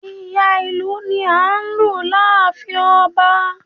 Ìyá ìlù ni a n lù láàfin ọba